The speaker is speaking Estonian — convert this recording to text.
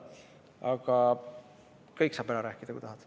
Aga kõik saad ära rääkida, kui tahad.